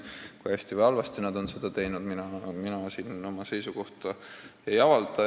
Kui hästi või halvasti on nad seda teinud, mina siin oma seisukohta ei avalda.